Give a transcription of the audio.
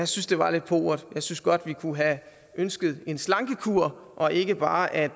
synes det var lidt pauvert jeg synes vi godt kunne have ønsket en slankekur og ikke bare at